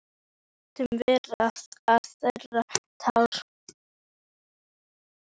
Við létum vera að þerra tárin.